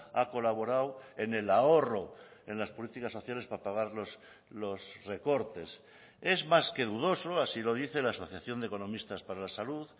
ha colaborado en el ahorro en las políticas sociales para pagar los recortes es más que dudoso así lo dice la asociación de economistas para la salud